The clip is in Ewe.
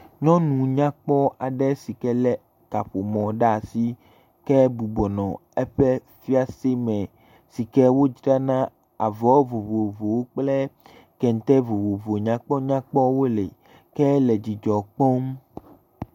Nyɔnu kpɔ ɖe sike lé kaƒomɔ ɖe asi, ke bɔbɔ nɔ eƒe fiase me, si ke wodzrana avɔ vovovowo kple kɛntɛ vovovo nyakpɔ nyakpɔwo le. Ke la dzidzɔ kpɔm.